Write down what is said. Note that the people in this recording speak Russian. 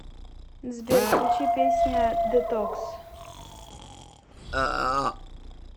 сбер включи песня детокс